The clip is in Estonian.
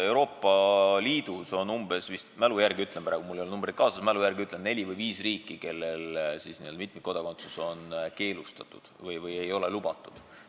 Euroopa Liidus on vist – ma mälu järgi ütlen praegu, mul ei ole arve kaasas – neli või viis riiki, kellel mitmikkodakondsus on keelustatud, ei ole lubatud.